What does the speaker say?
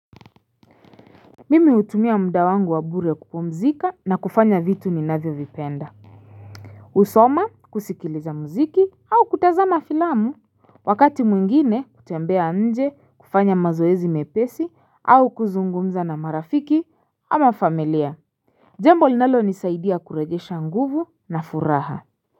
Mimi hutumia muda wangu wa bure kupumzika na kufanya vitu ninavyovipenda kusoma kusikiliza muziki au kutazama filamu Wakati mwingine kutembea nje kufanya mazoezi mepesi au kuzungumza na marafiki ama familia Jembo linalonisaidia kurejesha nguvu na furaha.